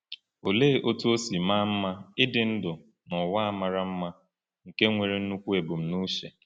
Olee otú o si maa mma ịdị ndụ n’ụwa a mara mma nke nwere nnukwu ebumnuche!